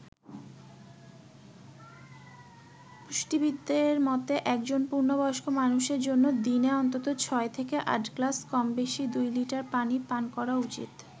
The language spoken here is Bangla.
পুষ্টিবিদদের মতে, একজন পূর্ণ বয়স্ক মানুষের জন্য দিনে অন্তত ছয় থেকে আট গ্লাস কমবেশি দুই লিটার পানি পান করা উচিত।